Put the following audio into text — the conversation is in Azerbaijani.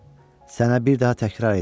Sənə bir daha təkrar eləyirəm.